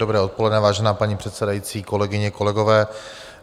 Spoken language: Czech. Dobré odpoledne, vážená paní předsedající, kolegyně, kolegové.